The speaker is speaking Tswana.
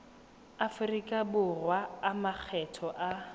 aforika borwa a makgetho a